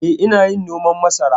Eh, ina yin noman masara.